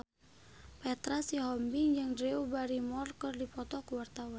Petra Sihombing jeung Drew Barrymore keur dipoto ku wartawan